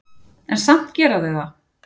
En samt gera þau það.